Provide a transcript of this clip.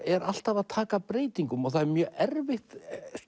er alltaf að taka breytingum og það er mjög erfitt